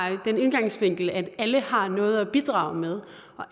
den indgangsvinkel at alle har noget at bidrage med